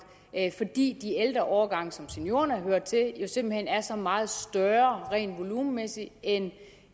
fordi de ældre årgange som seniorerne hører til jo simpelt hen er så meget større rent volumenmæssigt end